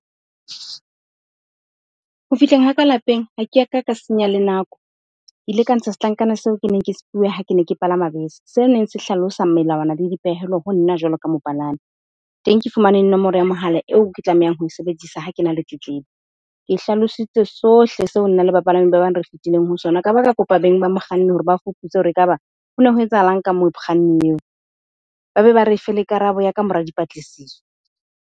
Ho fihleng ha ka lapeng, ha ke ya ka ka senya le nako. Ke ile ka ntsha setlankana seo ke neng ke se fuwe ha ke ne ke palama bese, se neng se hlalosa melawana le dipehelo ho nna jwalo ka mopalami. Teng, ke fumane nomoro ya mohala eo ke tlamehang ho sebedisa ha ke na le tletlebo. Ke hlalositse sohle seo nna le bapalami ba bang re fitileng ho sona. Ka ba ka kopa beng ba mokganni hore ba fuputse hore ekaba ho ne ho etsahalang ka mokganni eo, ba be ba re fe le karabo ya ka mora dipatlisiso.